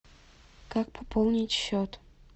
как пополнить счет